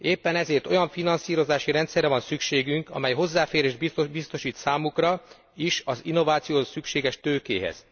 Éppen ezért olyan finanszírozási rendszerre van szükségünk, amely hozzáférést biztosít számukra is az innovációhoz szükséges tőkéhez.